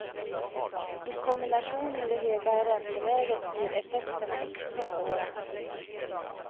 I kombination med det höga ränteläget blir effekterna extra svåra.